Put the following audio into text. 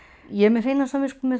ég er með hreina samvisku